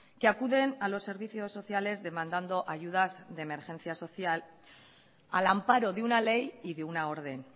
que acuden a los servicios sociales demandando ayudas de emergencia social al amparo de una ley y de una orden